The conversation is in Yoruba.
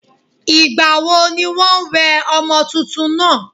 ìgbà wo ní wọ́n wẹ ọmọ túntún náà?